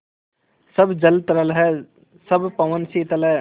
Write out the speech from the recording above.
सब जल तरल है सब पवन शीतल है